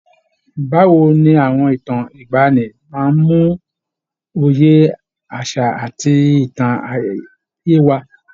Báwo ni àwọn ìtàn ìgbaanì máa ń mú òye àṣà àti ìtàn yé wa?